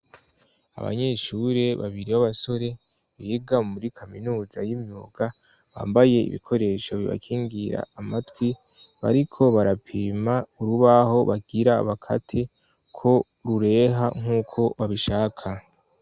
Abanyeshure babiri b'abasore biga muri kaminuza y'imyuga bambaye ibikoresho bibakingira amatwi, bariko barapima urubaho bagira bakate ko rureha nk'uko babishaka.